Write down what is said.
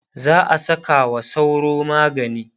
za'a Saka wa sauro magani